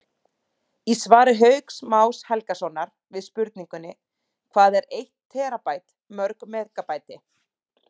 Í svari Hauks Más Helgasonar við spurningunni Hvað er eitt terabæti mörg megabæti?